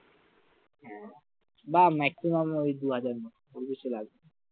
বা maximum ওই দুহাজার মতো, পঁচিশশো লাগবে